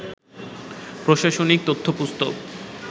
প্রশাসনিক তথ্যপুস্তক